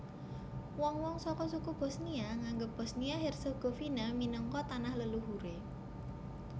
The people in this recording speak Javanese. Wong wong saka suku Bosnia nganggep Bosnia Herzegovina minangka tanah leluhuré